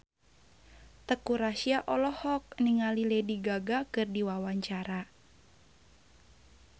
Teuku Rassya olohok ningali Lady Gaga keur diwawancara